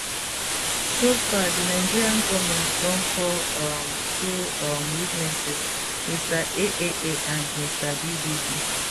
so far di nigeria goment don call um two um witnesses mr aaa and mr bbb